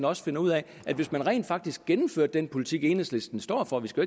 også finder ud af at hvis man rent faktisk gennemførte den politik enhedslisten står for vi skal